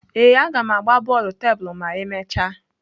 Ee, a ga m agba bọọlụ tebulu ma emechaa.